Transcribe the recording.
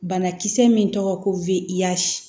Banakisɛ min tɔgɔ ko wesi